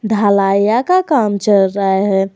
ढलाईया का काम चल रहा है।